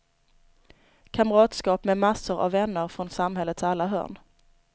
Kamratskap med massor av vänner från samhällets alla hörn.